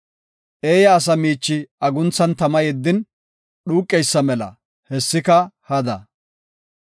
Eeya asa miichi agunthan tama yeddin dhuuqeysa mela; hessika hada.